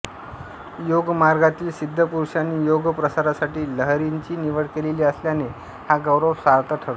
योगमार्गातील सिद्धपुरुषांनी योगप्रसारासाठी लाहिरींची निवड केलेली असल्याने हा गौरव सार्थ ठरतो